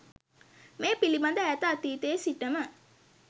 මේ පිළිබඳ ඈත අතීතයේ සිටම